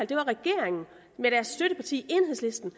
det var regeringen med deres støtteparti enhedslisten